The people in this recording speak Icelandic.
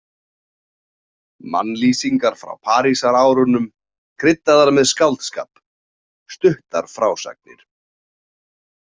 Mannlýsingar frá Parísarárunum, kryddaðar með skáldskap, stuttar frásagnir.